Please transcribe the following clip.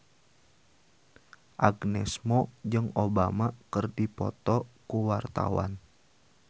Agnes Mo jeung Obama keur dipoto ku wartawan